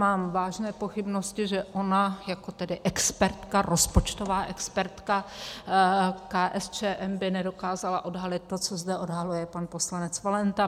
Mám vážné pochybnosti, že ona jako tedy expertka, rozpočtová expertka KSČM, by nedokázala odhalit to, co zde odhaluje pan poslanec Valenta.